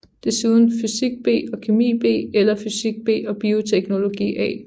Desuden fysik B og kemi B eller fysik B og bioteknologi A